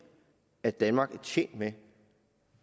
at danmark er tjent med